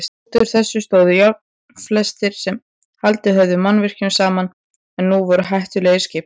Útúr þeim stóðu járnfleinar sem haldið höfðu mannvirkjunum saman en voru nú hættulegir skipum.